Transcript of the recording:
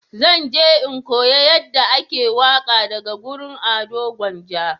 Zan je in koya yanda ake waƙa daga wurin Ado gwanja